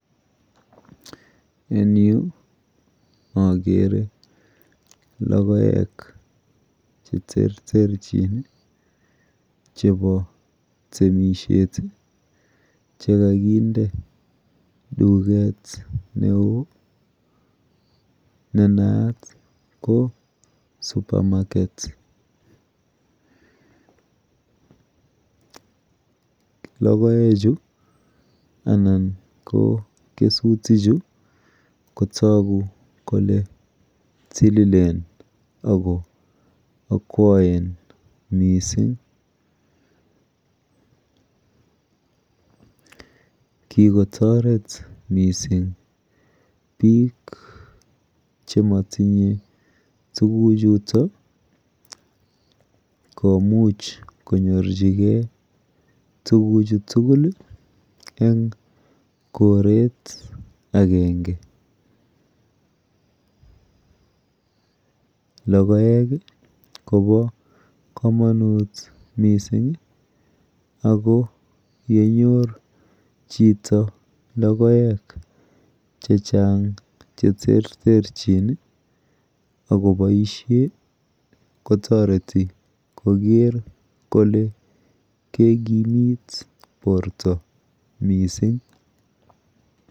En Yu agere logoek cheterterchin chebo temishet chekakinde tuget neon nenayat ko supermarket logoek Chu anan ko kesutik Chu konayat Kole tililen anan akwaen mising kikotaret mising bik chematinye tuguk chuton komuch konyorchigei tuguk chutugul en koret agenge logoek Koba kamanut mising ako yenyor Chito logoek chechang cheterterchin akobaishen kotareti Koger Kole kekimit borta mising